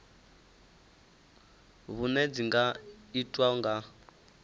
vhuṋe dzi nga itwa nga